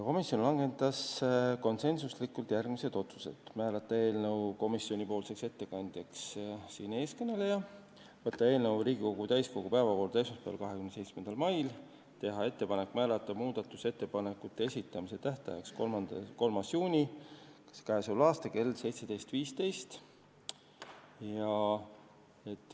Komisjon langetas konsensusega järgmised otsused: määrata eelnõu ettekandjaks teie ees kõneleja, võtta eelnõu Riigikogu täiskogu päevakorda esmaspäevaks, 27. maiks, teha ettepanek määrata muudatusettepanekute esitamise tähtajaks 3. juuni kell 17.15.